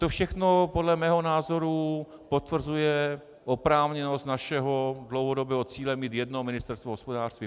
To všechno podle mého názoru potvrzuje oprávněnost našeho dlouhodobého cíle mít jedno Ministerstvo hospodářství.